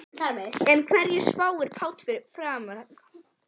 En hverju spáir Páll um framhaldið?